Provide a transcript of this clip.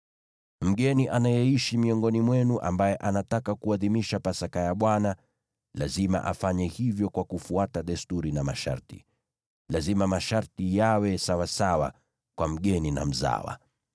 “ ‘Mgeni anayeishi miongoni mwenu ambaye anataka kuadhimisha Pasaka ya Bwana , lazima afanye hivyo kwa kufuata desturi na masharti. Lazima masharti yawe sawasawa kwa mgeni na mzawa.’ ”